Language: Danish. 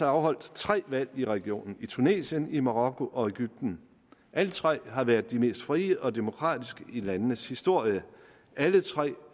afholdt tre valg i regionen i tunesien i marokko og i egypten alle tre har de været de mest frie og demokratiske i landenes historie og alle tre